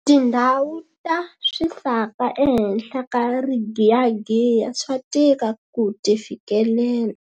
Tindhawu ta swisaka ehenhla ka rigiyagiya swa tika ku ti fikelela.